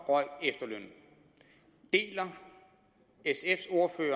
røg efterlønnen deler sfs